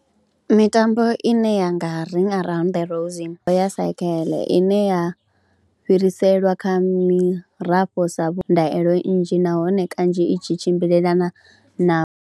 Mitambo ine ya nga ring around the roise ya sekheḽe ine ya fhiriselwa kha mirafho sa vhu, ndaelo nnzhi nahone kanzhi i tshi tshimbilelana na.